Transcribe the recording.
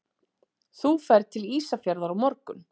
Þú ferð til Ísafjarðar á morgun.